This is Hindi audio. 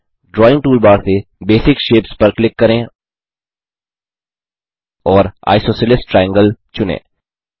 ड्राइंग टूलबार से बेसिक शेप्स पर क्लिक करें और आइसोसेलेस ट्रायंगल चुनें